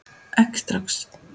Ekki strax